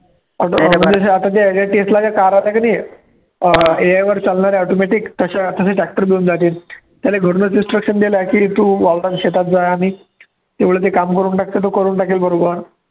अं AI वर चालणाऱ्या automatic तश्या तश्या त्याने घरूनचं instruction दिलं की तू वावरात शेतात जा आणि तेवढं ते काम करून टाक, तर तो करून टाकेल बरोबर